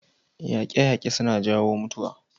Yaƙe-yaƙe suna jawo mutuwa.